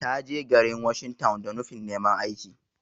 Ta je garin washing town da nufin neman aiki.